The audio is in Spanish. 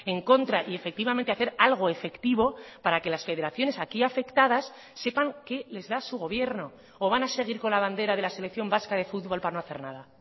en contra y efectivamente hacer algo efectivo para que las federaciones aquí afectadas sepan qué les da su gobierno o van a seguir con la bandera de la selección vasca de futbol para no hacer nada